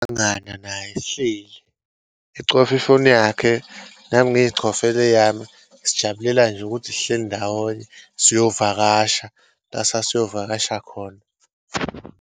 Naye sihleli, ecofa ifoni yakhe, nami ngiyicofela eyami. Sijabulelane nje ukuthi sihleli ndawonye, siyovakasha la sasiyovakasha khona.